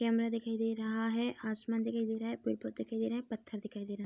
Camera दिखाई दे रहा है आसमान दिखाई दे रहा है पेड़-पौधे दिखाई दे रहे हैं पत्थर दिखाई दे रहा है।